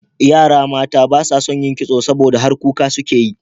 Yara mata ba son yin kitso, saboda har kuka suke yi.